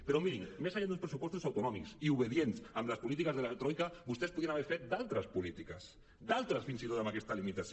però mirin més enllà dels pressupostos autonòmics i obedients amb les polítiques de la troica vostès podien haver fet altres polítiques fins i tot amb aquesta limitació